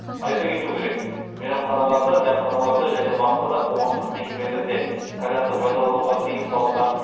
айта кету керек мейрамханаларда дәмханаларда және басқа да қоғамдық мекемелерде кальянды пайдалануға тыйым салынған